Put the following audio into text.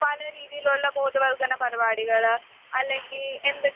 പല രീതിയിൽ ഉള്ള ബോധവൽക്കരണ പരിപാടികള് അല്ലെങ്കിൽ എന്തൊക്കെ